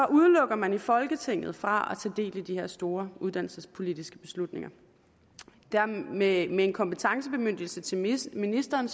udelukker man folketinget fra at del i de store uddannelsespolitiske beslutninger med en en kompetencebemyndigelse til ministeren